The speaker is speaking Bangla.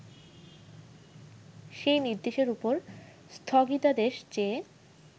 সেই নির্দেশের ওপর স্থগিতাদেশ চেয়ে